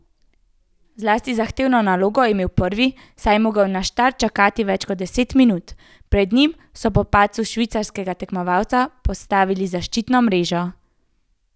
Zlasti zahtevno nalogo je imel prvi, saj je moral na štart čakati več kot deset minut, pred njim so po padcu švicarskega tekmovalca postavljali zaščitno mrežo.